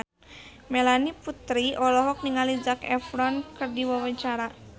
Melanie Putri olohok ningali Zac Efron keur diwawancara